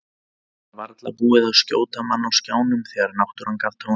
Það var varla búið að skjóta mann á skjánum þegar náttúran gaf tóninn.